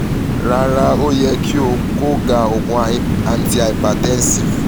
rara o yẹ ki o ko da oogun antihypertensive